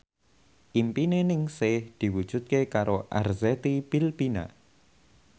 impine Ningsih diwujudke karo Arzetti Bilbina